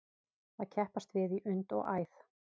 Að keppast við í und og æð